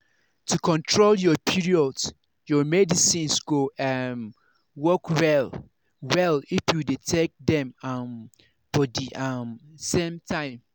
to control your period your medicines go um work well-well if you dey take dem um for the um same time.